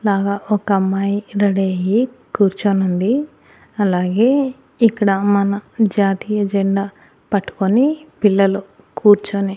లాగా ఒక అమ్మాయి రెడీ అయ్యి కూర్చోనుంది అలాగే ఇక్కడ మన జాతీయ జెండా పట్టుకొని పిల్లలు కూర్చొని.